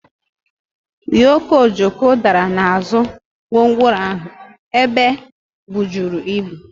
ụyọkọ Ojoko dara n'azụ gwongworo ahụ e bujuru ibu.